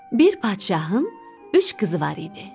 Bir padşahın üç qızı var idi.